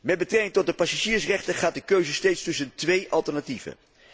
Met betrekking tot de passagiersrechten gaat die keuze steeds tussen twee alternatieven.